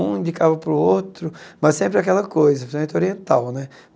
Um indicava para o outro, mas sempre aquela coisa, gente oriental né.